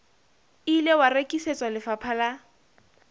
ile wa rekisetswa lefapha la